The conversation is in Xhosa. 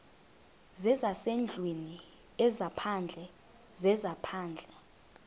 zezasendlwini ezaphandle zezaphandle